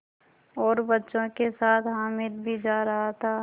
और बच्चों के साथ हामिद भी जा रहा था